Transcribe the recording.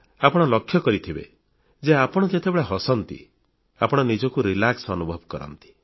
ଆପଣ ଲକ୍ଷ୍ୟ କରିଥିବେ ଯେ ଆପଣ ଯେତେବେଳେ ହସନ୍ତି ଆପଣ ନିଜକୁ ଆରାମRelax ଅନୁଭବ କରନ୍ତି